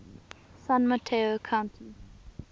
san mateo county